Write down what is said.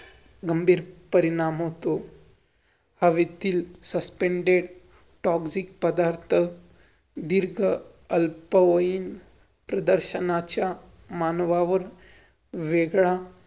कारण कि ती पण एक आपल्या महाराष्ट्रच वैभव ये ते